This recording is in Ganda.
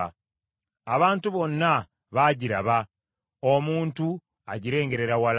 Abantu bonna baagiraba, omuntu agirengerera wala.